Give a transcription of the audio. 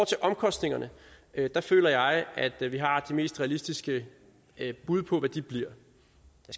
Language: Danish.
til omkostningerne føler jeg at vi har det mest realistiske bud på hvad de bliver